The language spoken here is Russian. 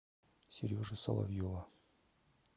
сережи соловьева